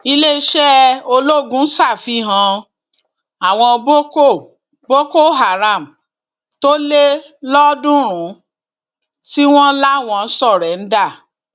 iléeṣẹ ológun ṣàfihàn àwọn boko boko haram tó le lọọọdúnrún tí wọn láwọn sóréńdà